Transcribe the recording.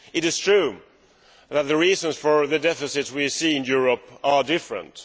It is true that the reasons for the deficits we see in Europe are different.